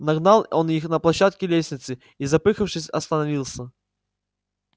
нагнал он их на площадке лестницы и запыхавшись остановился